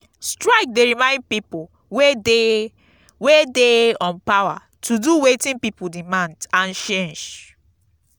strike dey remind people wey dey wey dey on power to do wetin people demand and change.